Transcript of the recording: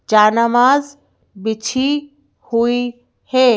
जानमाज़ बिछी हुई है।